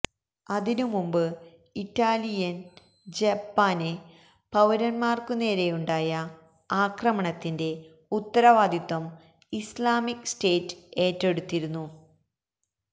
അതിനുമുമ്പ് Italian Japan പൌരന്മാര്ക്കുനേരെയുണ്ടായ അക്രമണത്തിന്റെ ഉത്തരവാദിത്വം ഇസ്ലാമിക് സ്റ്റേറ്റ് ഏറ്റെടുത്തിരുന്നു